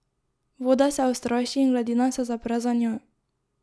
Voda se ustraši in gladina se zapre za njo.